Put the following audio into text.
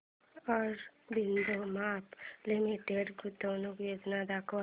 Aurobindo pharma limited गुंतवणूक योजना दाखव